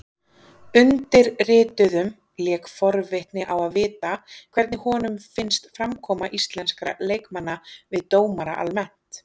Undirrituðum lék forvitni á að vita hvernig honum finnst framkoma íslenskra leikmanna við dómara almennt?